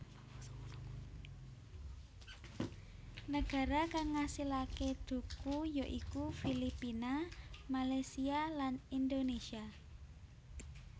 Nagara kang ngasilaké dhuku ya iku Filipina Malaysia lan Indonesia